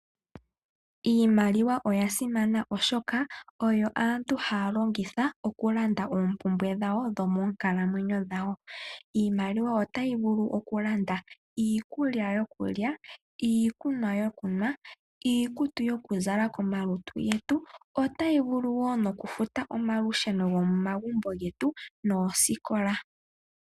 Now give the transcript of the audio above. Iimaliwa oyasimana oshoka oyo aantu haya longitha okulanda oompumbwe dhomoonkalamwenyo dhawo. Iimaliwa otayi vulu okulanda iikulya yokulya, iikunwa yokunwa, iikutu yokuzala komalutu getu. Otayi vulu wo nokufuta omalusheno gomomagumbo getu noosikola.